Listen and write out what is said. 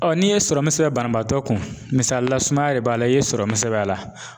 n'i ye serɔmu sɛbɛn banabaatɔ kun misalila sumaya le b'a la i ye serɔmu sɛbɛn a la,